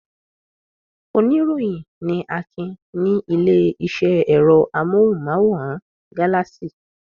Oníròyìn ni Akin ní ilé-iṣẹ́ ẹ̀rọ amóhùmáwòhán Galaxy.